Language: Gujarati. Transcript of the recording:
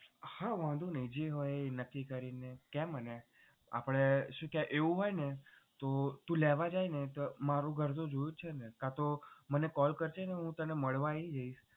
હા વાંધો નહીં જે હોય એ નક્કી કરીને કહે મતલબ આપણે શું કેહવાય એવું હોય ને તો તું લેવા જાય ને તો મારું ઘર તો જોયું જ છે ને કાંતો મને call કરજે ને હું તને મળવા આવી જઈશ.